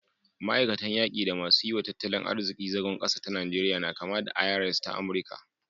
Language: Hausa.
Ma'aikatan yaki da masu yi wa tattalin arziki zagon ƙasa ta Najeriya na kama da ta IRS ta Amurika